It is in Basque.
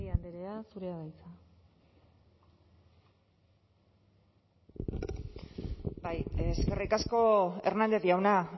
mendia andrea zurea da hitza bai eskerrik asko hernández jauna